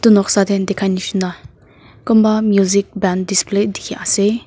noksa teh dikhai nisna kunba music band display dikhi ase.